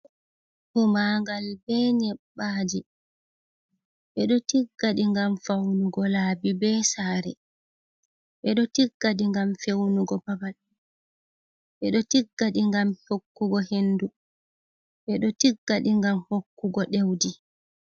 humagal be nyebbaji bedo tiggadi gam faunugo laabi be sare bedo tiggadi gam feunugo babal bedo tiggadi gam hokkugo hendu bedo tiggadi gam hokkugo dewdi